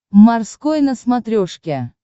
морской на смотрешке